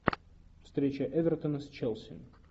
встреча эвертона с челси